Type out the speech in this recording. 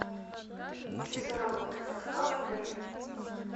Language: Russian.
часы работы катка в отеле